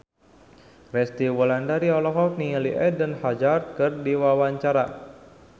Resty Wulandari olohok ningali Eden Hazard keur diwawancara